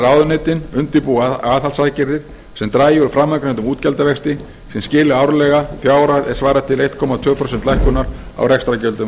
að ráðuneytin undirbúi aðhaldsaðgerðir sem dragi úr framangreindum útgjaldavexti sem skili árlega fjárhæð er svarar til einn komma tvö prósent lækkunar á rekstrargjöldum